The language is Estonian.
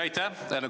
Aitäh!